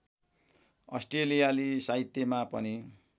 अस्ट्रेलियाली साहित्यमा पनि